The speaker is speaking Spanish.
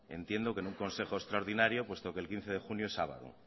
entiendo que en un consejo extraordinario puesto que el quince de junio es sábado